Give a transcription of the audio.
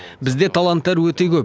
бізде таланттар өте көп